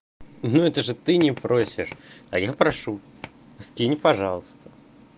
ну это же ты не просишь а я прошу скинь пожалуйста